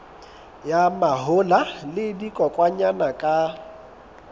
ya mahola le dikokwanyana ka